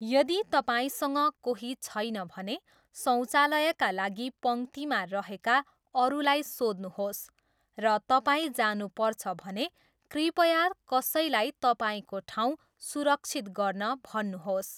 यदि तपाईँसँग कोही छैन भने, शौचालयका लागि पङ्क्तिमा रहेका अरूलाई सोध्नुहोस्, र तपाईँ जानुपर्छ भने, कृपया कसैलाई तपाईँको ठाउँ सुरक्षित गर्न भन्नुहोस्।